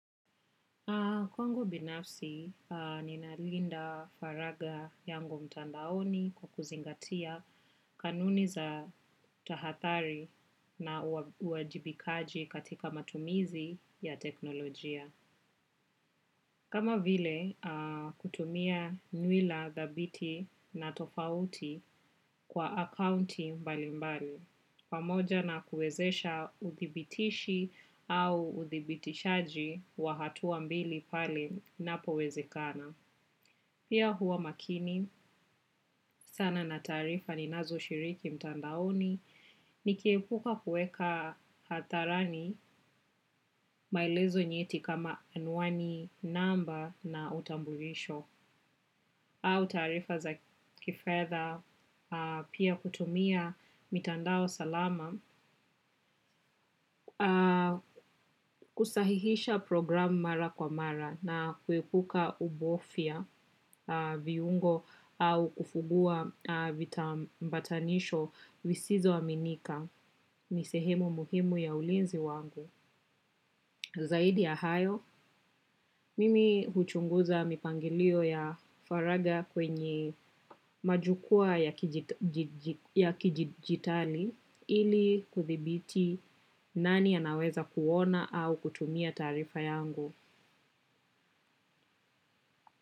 Kwangu binafsi ninalinda faragha yangu mtandaoni kwa kuzingatia kanuni za tahathari na uwajibikaji katika matumizi ya teknolojia. Kama vile kutumia nywila, thabiti na tofauti kwa akaunti mbalimbali, pamoja na kuwezesha uthibitishi au uthibitishaji wa hatua mbili pale inapowezekana. Pia huwa makini, sana na taarifa ninazoshiriki mtandaoni, nikiepuka kuweka hadharani, maelezo nyeti kama anwani namba na utambulisho, au taarifa za kifedha, pia kutumia mitandao salama. Kusahihisha programu mara kwa mara na kuepuka ubofia viungo au kufugua vitambatanisho visizo aminika, ni sehemu muhimu ya ulinzi wangu. Zaidi ya hayo, mimi huchunguza mipangilio ya faragha kwenye majukwaa ya kidijitali ili kuthibiti nani anaweza kuona au kutumia taarifa yangu.